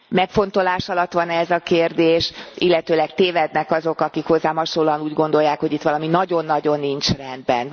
Megfontolás alatt van e ez a kérdés, illetőleg tévednek e azok, akik hozzám hasonlóan úgy gondolják, hogy itt valami nagyon nagyon nincs rendben?